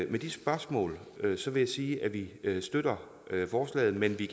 med de spørgsmål vil jeg sige at vi støtter forslaget men vi